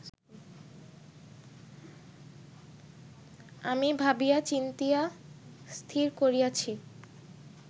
আমি ভাবিয়া চিন্তিয়া স্থির করিয়াছি